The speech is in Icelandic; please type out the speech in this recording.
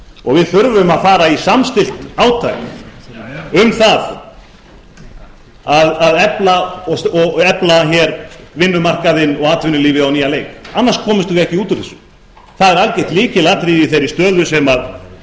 og við þörfum að fara í samstillt átak um það að efla vinnumarkaðinn og atvinnulífið á nýjan leik annars komumst við ekki út úr þessu það er algert lykilatriði í þeirri stöðu sem